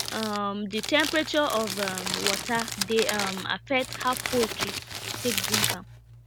um the temperature of um water dey um affect how poultry dey take drink am